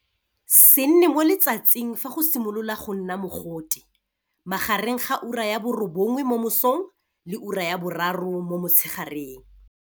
Se nne mo letsatsing fa go simolola go nna mogote, magareng ga ura ya bo 9h00 mo mosong le ura ya bo 3h00 mo motshegareng.